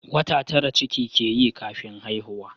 Wata tara ciki ke yi kafin haihuwa